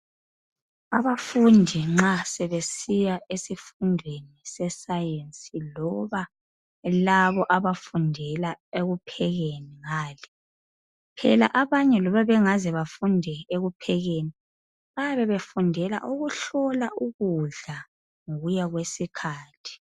Abafundi nxa sebesiya esifundweni se Science loba laba abafundela ekuphekeni ngale. Phela abanye loba bengaze befunde ekuphekeni, bayabe befundela ukuhlola ukudla ngokuya kwesikhathi.